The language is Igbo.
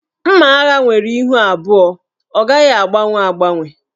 Mma agha nwere ihu abụọ, ọ gaghị agbanwe agbanwe.